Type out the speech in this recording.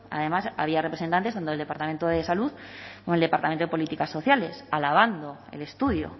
además había representantes tanto del departamento de salud como del departamento de políticas sociales alabando el estudio